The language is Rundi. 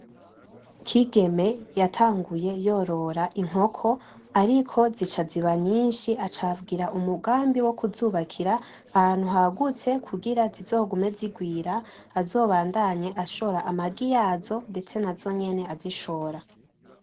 Kigeme yatanguye yorora inkoko ariko zica ziba nyinshi aca agira umugambi wo kizubakira ahantu hagutse kugira zizogume zirwara kugira azobandanye ashora amagi yazo ndetse nazonyene azishora .